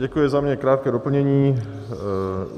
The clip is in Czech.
Děkuji za něj. Krátké doplnění.